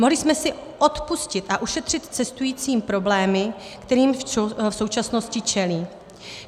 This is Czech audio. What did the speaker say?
Mohli jsme si odpustit a ušetřit cestujícím problémy, kterým v současnosti čelí.